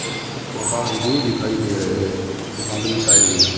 कुछ छोटा वन भी दिखाई दे रहे है बादल छाए हुए--